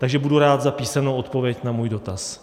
Takže budu rád za písemnou odpověď na svůj dotaz.